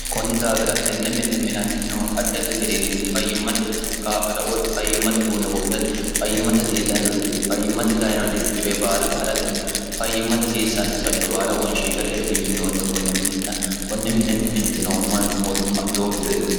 kunni daafira tenne minna minantinohu addardi gariinni fayyimmate qaa'lora woy fayyimmate utuunne bodhati fimmate hiofayyimmate dayinode coye baala haa'ratenna fayyimmate hasiissanno hasatto baala wonshiishshateeti minoonnihu konne minenna konne mine mintino ummani mootumma lowo birredunni